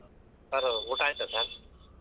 sir ಊಟಾ ಆಯ್ತಾ sir ?